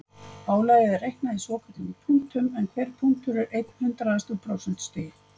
Álagið er reiknað í svokölluðum punktum en hver punktur er einn hundraðasti úr prósentustigi.